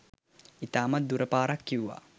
ඉතාමත්ම දුර පාරක් කිව්වා.